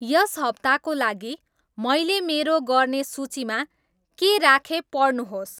यस हप्ताको लागि मैले मेरो गर्ने सूचीमा के राखेँ पढ्नुहोस्